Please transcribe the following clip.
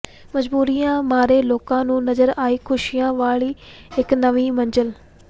ਮਜਬੂਰੀਆਂ ਮਾਰੇ ਲੋਕਾਂ ਨੂੰ ਨਜ਼ਰ ਆਈ ਖੁਸ਼ੀਆਂ ਵਾਲੀ ਇੱਕ ਨਵੀਂ ਮੰਜ਼ਿਲ